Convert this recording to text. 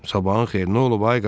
Sabahın xeyir, nə olub ay qaqa?